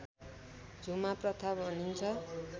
झुमा प्रथा भनिन्छ